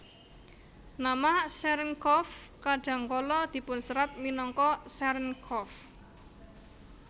Nama Cherenkov kadang kala dipunserat minangka Cerenkov